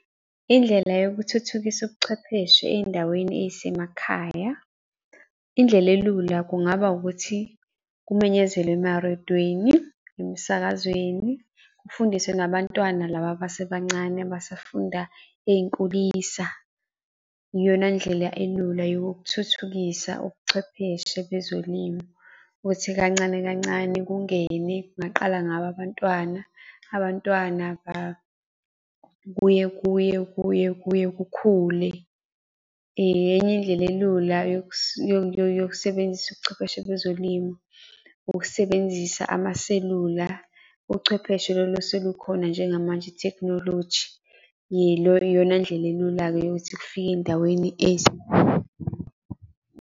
Indlela yokuthuthukisa ubuchwepheshe ey'ndaweni ey'semakhaya. Indlela elula kungaba ukuthi kumenyezelwe emarediyweni, emsakazweni, kufundiswe nabantwana laba abasebancane abasafunda ey'nkulisa. Iyona ndlela elula yokuthuthukisa ubuchwepheshe bezolimo. Ukuthi kancane kancane kungene, kungaqala ngabo abantwana, abantwana kuye kuye kuye kuye kukhule. Enye indlela elula yokusebenzisa ubuchwepheshe bezolimo. Ukusebenzisa amaselula, uchwepheshe lolu oselukhona njengamanje Ithekhinoloji, iyona ndlela elula-ke yokuthi kufike ey'ndaweni .